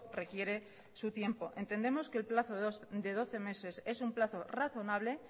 requiere su tiempo entendemos que el plazo de doce meses es un plazo razonable